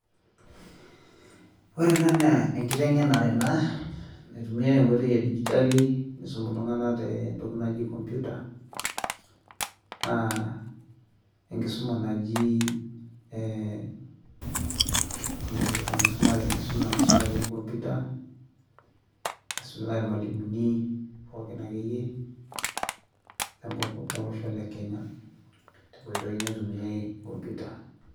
ore ena naa enkiteng'enare naitumiyai enkoitoi edigitali nisumi iltung'anak te computer, enkisuma naisumai te computer nasumitai ilmalimuni pooki lolosho lekenya.